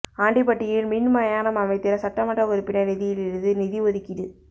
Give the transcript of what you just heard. ஆண்டிபட்டியில் மின் மயானம் அமைத்திட சட்டமன்ற உறுப்பினா் நிதியிலிருந்து நிதி ஓதுக்கீடு